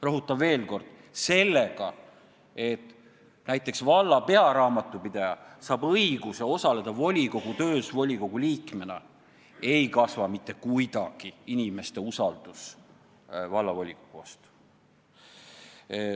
Rõhutan veel kord: sellega, et näiteks valla pearaamatupidaja saab õiguse osaleda volikogu töös volikogu liikmena, ei kasva mitte kuidagi inimeste usaldus vallavolikogu vastu.